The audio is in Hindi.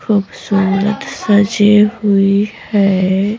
खूबसूरत सजी हुई है।